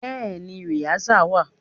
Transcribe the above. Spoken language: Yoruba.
Bẹ́ẹ̀ni rìásà wà.